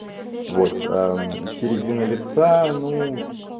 вот середина лица ну